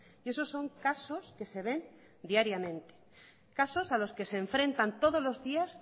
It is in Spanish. y esos son casos que se ven diariamente casos a los que se enfrentan todos los días